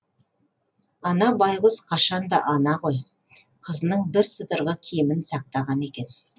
ана байғұс қашан да ана ғой қызының бірсыдырғы киімін сақтаған екен